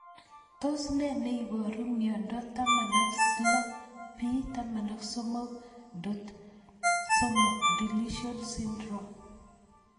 Tos ne neiparu miondop 16p13.3 deletion syndrome